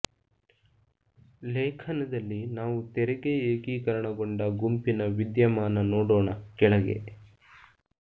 ಲೇಖನದಲ್ಲಿ ನಾವು ತೆರಿಗೆ ಏಕೀಕರಣಗೊಂಡ ಗುಂಪಿನ ವಿದ್ಯಮಾನ ನೋಡೋಣ ಕೆಳಗೆ